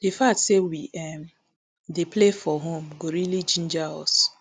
di fact say we um dey play for home go really ginger us